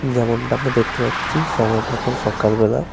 যেমনটা আমরা দেখতে পাচ্ছি সেমনটা এখন সকালবেলা।